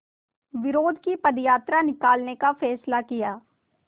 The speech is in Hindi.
विरोध की पदयात्रा निकालने का फ़ैसला किया